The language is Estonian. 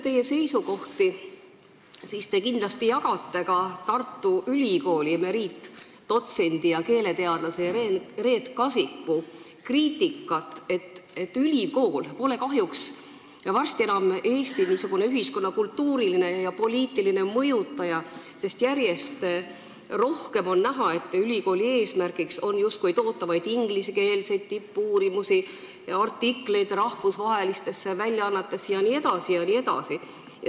Teie seisukohtade põhjal otsustades te kindlasti jagate ka Tartu Ülikooli emeriitdotsendi ja keeleteadlase Reet Kasiku kriitikat, et ülikool pole kahjuks varsti enam Eesti ühiskonna kultuuriline ja poliitiline mõjutaja, sest järjest rohkem on näha, kuidas ülikooli eesmärgiks saab justkui toota vaid ingliskeelseid tippuurimusi, artikleid rahvusvahelistesse väljaannetesse jne, jne.